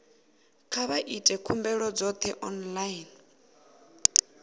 kha vha ite khumbelo dzoṱhe online